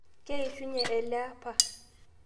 Keishunye eleapa